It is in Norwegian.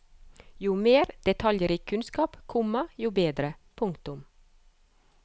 Jo mer detaljrik kunnskap, komma jo bedre. punktum